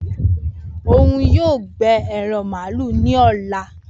Oun yoo gbẹ eran malu ni ọla